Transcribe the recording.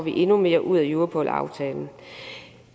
endnu mere ud europol aftalen